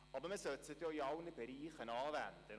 Aber man sollte sie denn auch in allen Bereichen anwenden.